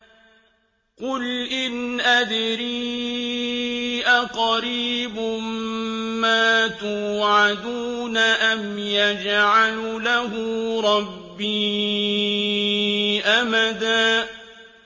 قُلْ إِنْ أَدْرِي أَقَرِيبٌ مَّا تُوعَدُونَ أَمْ يَجْعَلُ لَهُ رَبِّي أَمَدًا